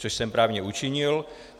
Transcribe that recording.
Což jsem právě učinil.